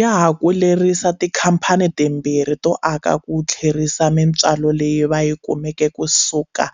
Ya ha ku lerisa tikhamphani timbirhi to aka ku tlherisa mitswalo leyi va yi kumeke kusuka